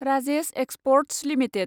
Rajesh experts limited